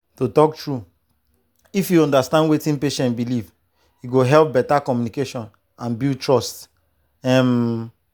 to talk true if you understand wetin patient believe e go help better communication and build trust. um